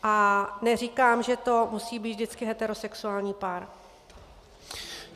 A neříkám, že to musí být vždycky heterosexuální pár.